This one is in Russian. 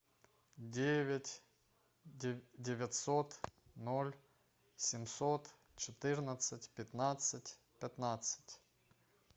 девять девятьсот ноль семьсот четырнадцать пятнадцать пятнадцать